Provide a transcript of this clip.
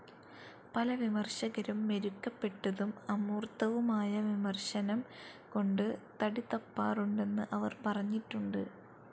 പല വിമർശകരും മെരുക്കപ്പെട്ടതും അമൂർത്തവുമായ വിമർശനം കൊണ്ട് തടിതപ്പാറുണ്ടെന്ന് അവർ പറഞ്ഞിട്ടുണ്ട്.